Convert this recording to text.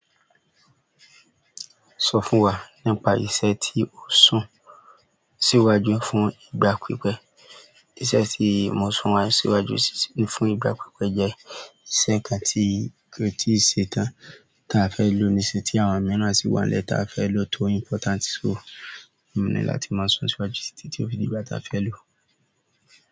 Sọ fún wa nípa iṣẹ́ tí o sun síwájú fún ìgbà pípẹ́. Iṣẹ́ tí mo sùn wá síwájú fún ìgbà pípẹ́ jẹ́ iṣẹ́ kan tí kò tí ṣe tán. Ta fẹ́ lò ni iṣẹ́ tí àwọn mìíràn sì wà nílẹ̀ ta fẹ́ lọ tó important. So, mo ní láti máa sún síwájú títí tí ó fi di ìgbà tí a fẹ́ lò.